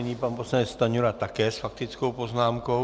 Nyní pan poslanec Stanjura také s faktickou poznámkou.